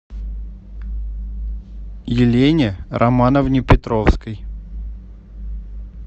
елене романовне петровской